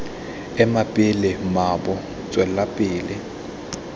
ema pele mmaabo tswela pele